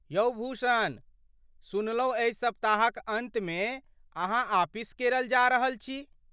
यौ भूषण, सुनलहुँ एहि सप्ताहक अन्तमे अहाँ आपिस केरल जा रहल छी।